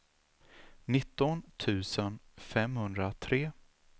nitton tusen femhundratre